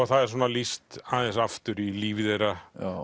það er lýst aðeins aftur í líf þeirra